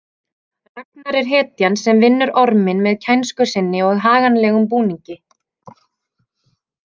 Ragnar er hetjan sem vinnur orminn með kænsku sinni og haganlegum búningi .